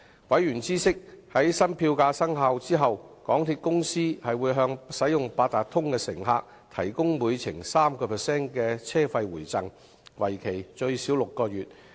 委員知悉，在新票價生效後，港鐵公司會向使用八達通的乘客提供每程 3% 車費回贈，為期最少6個月。